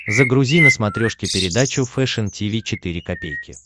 загрузи на смотрешке передачу фэшн ти ви четыре ка